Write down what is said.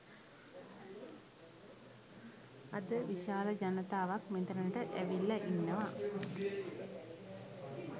අද විශාල ජනතාවක් මෙතැනට ඇවිල්ලා ඉන්නවා.